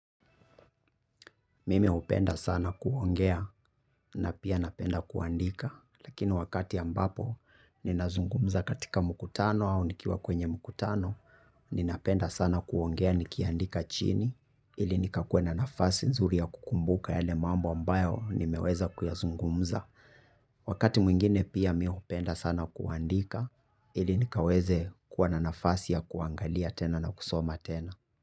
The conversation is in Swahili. Mimi hupenda sana kuongea na pia napenda kuandika lakini wakati ambapo ninazungumza katika mkutano au nikiwa kwenye mkutano ninapenda sana kuongea nikiandika chini ili nikakue na nafasi nzuri ya kukumbuka yale mambo ambayo nimeweza kuyazungumza. Wakati mwingine pia mi upenda sana kuandika ili nikaweze kua na nafasi ya kuangalia tena na kusoma tena.